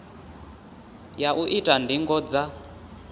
ya u ita ndingo dza